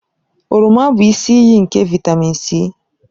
Oroma bụ isi iyi nke vịtamịn C.